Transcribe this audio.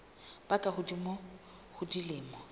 ba ka hodimo ho dilemo